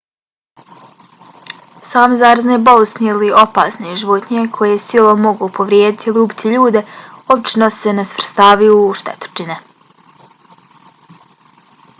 same zarazne bolesti ili opasne životinje koje silom mogu povrijediti ili ubiti ljude obično se ne svrstavaju u štetočine